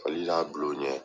Hali de y'a bulo u ɲɛ.